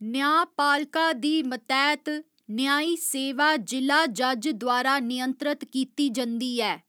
न्यांऽपालका दी मतैह्त न्यांई सेवा जि'ला जज द्वारा नियंत्रत कीती जंदी ऐ।